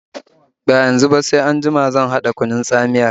Ba yanzu ba, sai anjima zan haɗa kunun tsamiyar